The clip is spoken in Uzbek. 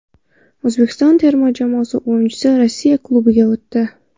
O‘zbekiston terma jamoasi o‘yinchisi Rossiya klubiga o‘tdi .